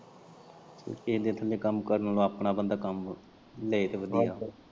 ਕੇਹੇ ਦੇ ਥੱਲੇ ਕੰਮ ਕਰਨ ਨਾਲੋਂ ਆਪਣਾ ਬੰਦਾ ਕੰਮ ਲਏ ਤਾਂ ਵਧੀਆ।